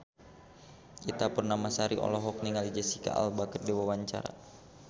Ita Purnamasari olohok ningali Jesicca Alba keur diwawancara